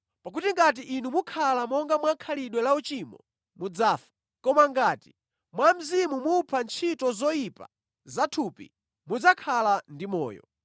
Pakuti ngati inu mukhala monga mwa khalidwe lauchimo, mudzafa. Koma ngati mwa Mzimu mupha ntchito zoyipa zathupi, mudzakhala ndi moyo.